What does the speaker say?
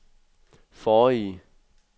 forrige